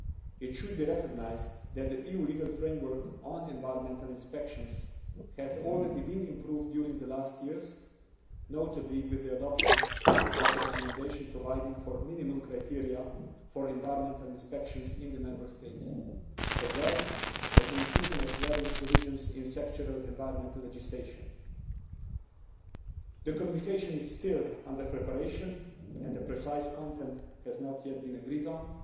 It should be recognised that the EU's legal framework on environmental inspection has already been improved during the last years, notably with the adoption of a recommendation providing for minimum criteria for environmental inspections in the Member States as well as the inclusion of various provisions in sectoral environmental legislation. The communication is still under preparation and the precise content has not yet been agreed